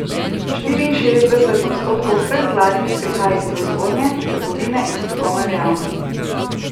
Štiriinšestdeset odstotkov vseh zlatih prihaja iz proizvodnje, trgovine in strokovne dejavnosti.